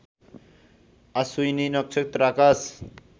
अश्विनी नक्षत्र आकाश